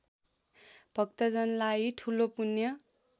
भक्तजनलाई ठूलो पुण्य